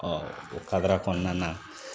o kadara kɔnɔna na.